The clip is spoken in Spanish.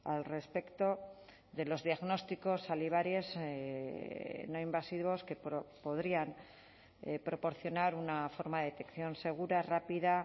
al respecto de los diagnósticos salivares no invasivos que podrían proporcionar una forma de detección segura rápida